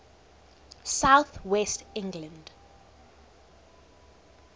south west england